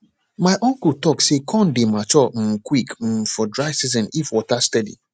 my uncle talk say corn dey mature um quick um for dry season if water steady